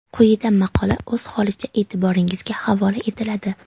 Quyida maqola o‘z holicha e’tiboringizga havola etiladi.